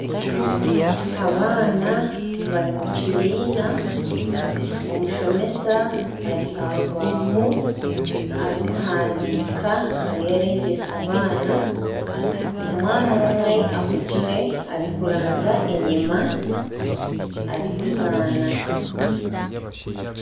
Abaana bari omu kibiina, omushomesa Ari aha rubaaho, ariyo nahandiika ariyo nayegyesa abaana omwana omwe ahugire ariyo naranzya enyuma arikuzaana .